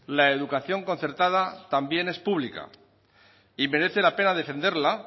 la educación concertada también es pública y merece la pena defenderla